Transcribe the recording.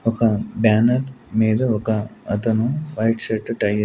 ఒక బ్యానర్ మీద ఒక అతను వైట్ షర్ట్ టై--